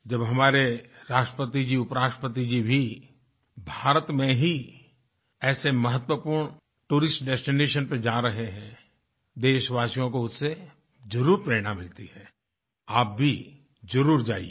जब हमारे राष्ट्रपति जी उपराष्ट्रपति जी भी भारत में ही ऐसे महत्वपूर्ण टूरिस्ट डेस्टिनेशन पर जा रहे हैं देशवासियों को उससे जरुर प्रेरणा मिलती है आप भी जरुर जाइये